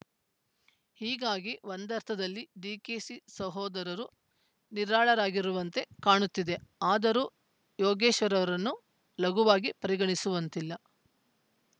ಹೀಗಾಗಿ ಒಂದರ್ಥದಲ್ಲಿ ಡಿಕೆಶಿ ಸಹೋದರರು ನಿರಾಳರಾಗಿರುವಂತೆ ಕಾಣುತ್ತಿದೆ ಆದರೂ ಯೋಗೇಶ್ವರ್‌ರನ್ನು ಲಘವಾಗಿ ಪರಿಗಣಿಸುವಂತಿಲ್ಲ